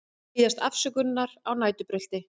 Biðjast afsökunar á næturbrölti